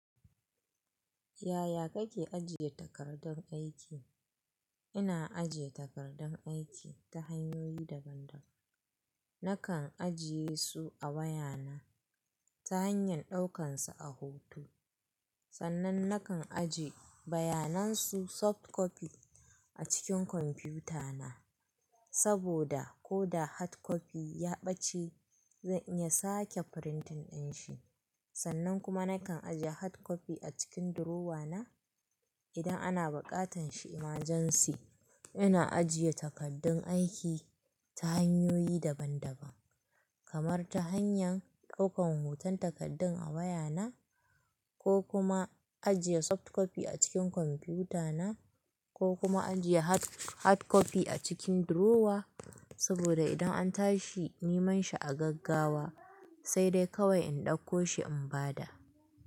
Yaya kake ajiye takardun aiki? Ina ajiye takardun aiki ta hanyoyi daban-daban. Nakan ajiye su a wayana ta hanyar ɗaukansu a hoto. Sannan nakan ajiye bayanan su soft copy a cikin kwamfuta na. Saboda ko da hard copy ya ɓace zan iya sake printin ɗin shi. Sannan kuma nakan ajiye hard copy a cikin durowa na idan ana buƙatan shi emergency. Ina ajiye takaddun aiki ta hanyoyi daban-daban kamar ta hanyan ɗaukan hoton takardun a wayana ko kuma ajiye soft copy a cikin kwamputa na ko kuma ajiye hard hard copy a cikin durowa. Saboda idan an tashi niman shi a gaggawa sai dai kawai in ɗauko shi in bada.